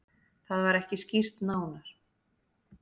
Það var ekki skýrt nánar.